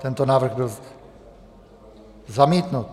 Tento návrh byl zamítnut.